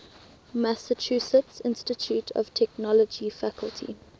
massachusetts institute of technology faculty